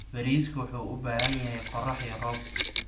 Bariisku wuxuu u baahan yahay qorrax iyo roob.